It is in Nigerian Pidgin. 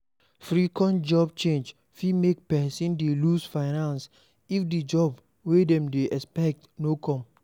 Frequent job change fit make person dey loose finance if di job wey dem dey expect no come